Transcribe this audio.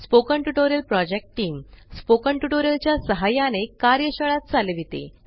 spoken tutorial project team spoken tutorial च्या सहाय्याने कार्यशाळा चालविते